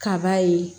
Kaba ye